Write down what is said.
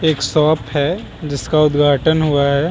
एक शॉप है जिसका उद्धाटन हुआ है।